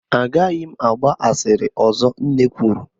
A gaghị m agba asịrị ọzọ, Nne kwuru